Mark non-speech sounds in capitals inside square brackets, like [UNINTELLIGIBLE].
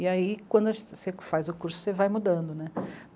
E aí, quando [UNINTELLIGIBLE] você que faz o curso, você vai mudando, né?